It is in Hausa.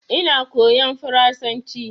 Ina koyan faransanci